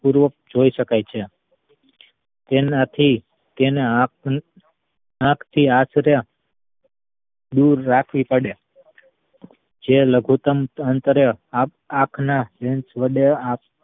પૂર્વક જોઈ શકાય છે તેનાથી તેને આંખ ની આંખ થી દૂર રાખવી પડે જે લઘુતમ અંતરે આખ ~આખાને lens વડે